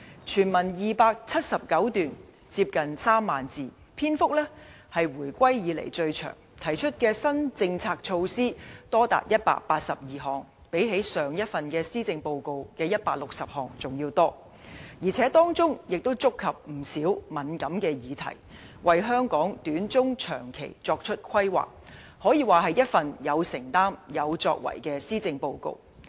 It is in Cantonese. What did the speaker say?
全文279段，接近3萬字，篇幅是回歸以來最長，提出的新政策措施多達182項，比上一份施政報告160項還要多，而且當中亦觸及不少敏感議題，為香港短、中、長期發展作出規劃，可說是一份有承擔有作為的施政報告。